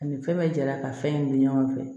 Ani fɛn bɛ jala ka fɛn in dun ɲɔgɔn fɛ